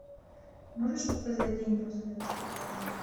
можешь показать день после расставания